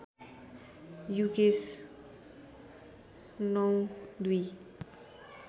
Yukesh ०९ ०२